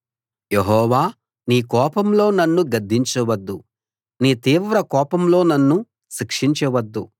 యెహోవా నీ కోపంలో నన్ను గద్దించవద్దు నీ తీవ్ర కోపంలో నన్ను శిక్షించవద్దు